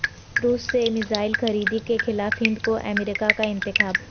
روس سے میزائل خریدی کیخلاف ہند کو امریکہ کا انتباہ